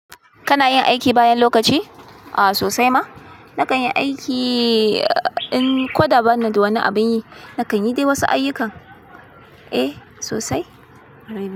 Kana yin aiki bayan lokaci? A sosai ma. Nakan yi aiki in kwada ban da wani abin yi. Nakan yi dai wasu ayyukan. Eh sosai.